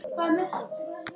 Þessi leikur hafði allt.